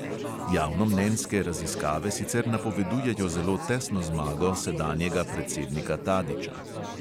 Javnomnenjske raziskave sicer napovedujejo zelo tesno zmago sedanjega predsednika tadića.